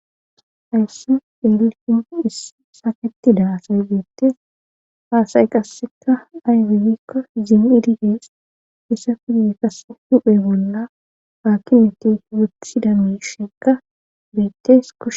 hayssu delilin is saketida asaygeettes haasay qasseka aybibikko zim7idigees isa fid qass duphe bolla haakinetti wuthidamu shekka beettes kus